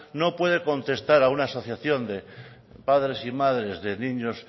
no puede contestar a una asociación de padres y madres de niños